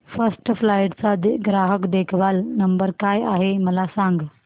first flight चा ग्राहक देखभाल नंबर काय आहे मला सांग